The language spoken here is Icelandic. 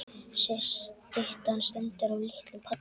Styttan stendur á litlum palli.